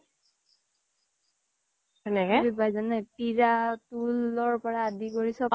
পিৰা তূলৰ পৰা আদি কৰি চব